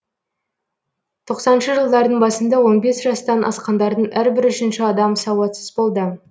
тоқсаныншы жылдардың басында он бес жастан асқандардың әрбір үшінші адам сауатсыз болды